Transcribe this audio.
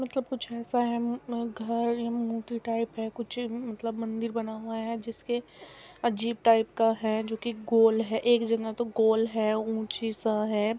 मतलब कुछ ऐसा है न घर या मूर्ति टाइप है कुछ अ मतलब मंदिर बना हुआ है जिसके अजीब टाइप का है जो कि गोल है एक जगह तो गोल है ऊंची सा है।